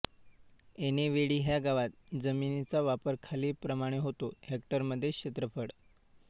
ऐनेवाडी ह्या गावात जमिनीचा वापर खालीलप्रमाणे होतो हेक्टरमध्ये क्षेत्रफळ